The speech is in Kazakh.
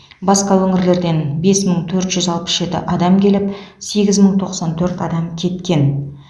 басқа өңірлерден бес мың төрт жүз алпыс жеті адам келіп сегіз мың тоқсан төрт адам кеткен